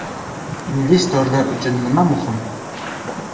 Investorlar uchun nima muhim?